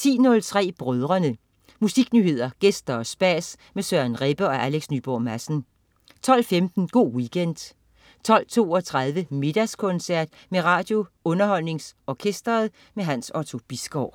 10.03 Brødrene. Musiknyheder, gæster og spas med Søren Rebbe og Alex Nyborg Madsen 12.15 Go' Weekend 12.32 Middagskoncert med RadioUnderholdningsOrkestret. Hans Otto Bisgaard